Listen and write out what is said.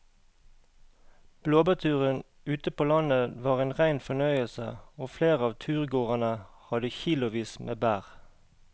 Blåbærturen ute på landet var en rein fornøyelse og flere av turgåerene hadde kilosvis med bær.